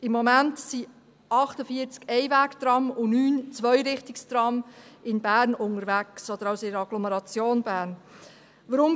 Im Moment sind 48 Einwegtrams und 9 Zweirichtungstrams in der Agglomeration Bern unterwegs.